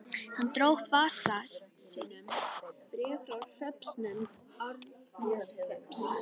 Hann dró upp úr vasa sínum bréf frá hreppsnefnd Árneshrepps.